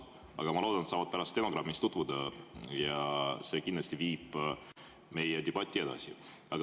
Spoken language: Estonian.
Aga ma loodan, et nad saavad pärast stenogrammiga tutvuda ja see kindlasti viib meie debatti edasi.